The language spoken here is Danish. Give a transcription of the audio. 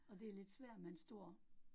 Og det lidt svært med en stor